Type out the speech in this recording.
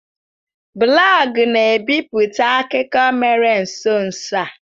Blọọgụ na bipụta akụkọ mere nso nso a.